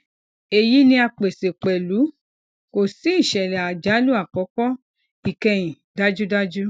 eyi ni a pese pẹlu ko si isele ajalu akoko ikẹhin dajudaju